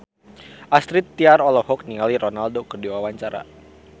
Astrid Tiar olohok ningali Ronaldo keur diwawancara